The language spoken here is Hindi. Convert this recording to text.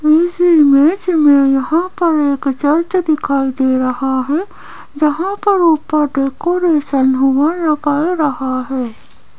इस इमेज में यहां पर एक चर्च दिखाई दे रहा है जहां पर ऊपर डेकोरेशन हुआ या कर रहा है।